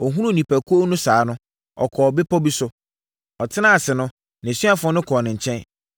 Ɔhunuu nnipakuo no saa no, ɔkɔɔ bepɔ bi so. Ɔtenaa ase no, nʼasuafoɔ no kɔɔ ne nkyɛn.